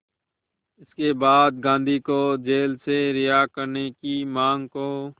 इसके बाद गांधी को जेल से रिहा करने की मांग को